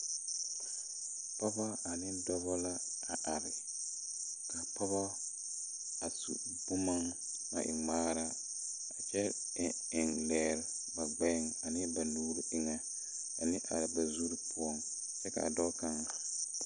Pɔɔbɔ ane dɔbɔ la are kaa pɔɔbɔ a su bomma na e ngmaara kyɛ eŋ eŋ lɛɛre ba gbɛɛŋ ane ba nuure eŋɛ ane a ba zurre poɔŋ kyɛ kaa dɔɔ kaŋ .